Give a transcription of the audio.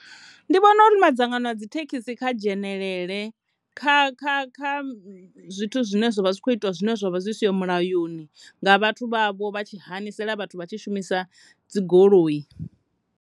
Ndi vhona uri madzangano a dzithekhisi kha dzhenelele kha, kha, kha zwithu zwine zwa vha zwi kho itiwa zwine zwa vha zwi siho mulayoni nga vhathu vhavho vha tshi hanisela vhathu vha tshi shumisa dzi goloi.